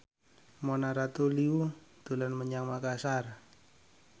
Mona Ratuliu dolan menyang Makasar